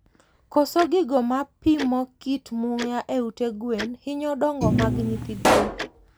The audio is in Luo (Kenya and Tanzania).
Koso gigo mapimo kit muya e ute gwen hinyo dongo mag nyithi gwen